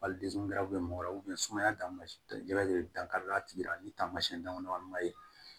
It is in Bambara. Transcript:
Wali mɔgɔ wɛrɛ sumaya dan de bɛ dankari a tigi la ni taamasiyɛn daminɛna ma ye